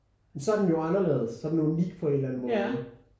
Så er den jo anderledes så er den unik på en eller anden måde